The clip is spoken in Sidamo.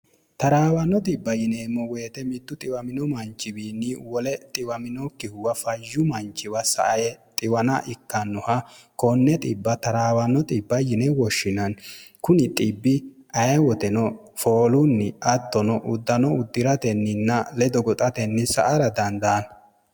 taraawanno xibb yineemmo woyite mittu xiwamino manchiwiinni wole xiwaminokkihuwa fasyu manchiwa sae xiwan ikkannoha kone trwnno yine woshshinanni kuni xibbi aye woteno foolunni attono uddano uddi'ratenninna ledo goxatenni sa ara dandaanno